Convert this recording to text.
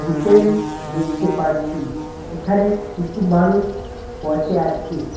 Hotel দেখতে পারছি এখানে কিছু মানুষ বসে আছে।